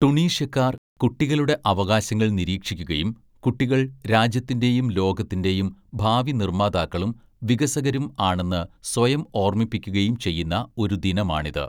ടുണീഷ്യക്കാർ കുട്ടികളുടെ അവകാശങ്ങൾ നിരീക്ഷിക്കുകയും കുട്ടികൾ രാജ്യത്തിന്റെയും ലോകത്തിന്റെയും ഭാവി നിർമ്മാതാക്കളും വികസകരും ആണെന്ന് സ്വയം ഓർമ്മിപ്പിക്കുകയും ചെയ്യുന്ന ഒരു ദിനമാണിത്.